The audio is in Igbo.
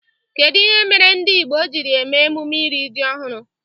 Kedụ ihe mere ndị Igbo jiri eme emume iri ji ọhụrụ?